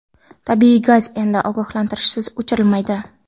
Tabiiy gaz endi ogohlantirishsiz o‘chirilmaydi.